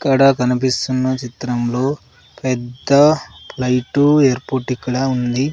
ఇక్కడ కనిపిస్తున్న చిత్రంలో పెద్ద లైటు ఏర్పోర్ట్ ఇక్కడ ఉంది.